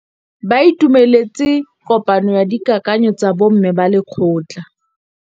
Ba itumeletse kôpanyo ya dikakanyô tsa bo mme ba lekgotla.